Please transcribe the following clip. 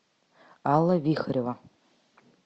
алла вихорева